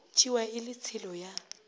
tšewa e le tshelo ya